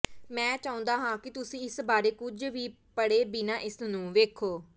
ਮੈਂ ਚਾਹੁੰਦਾ ਹਾਂ ਕਿ ਤੁਸੀਂ ਇਸ ਬਾਰੇ ਕੁਝ ਵੀ ਪੜ੍ਹੇ ਬਿਨਾਂ ਇਸ ਨੂੰ ਵੇਖੋ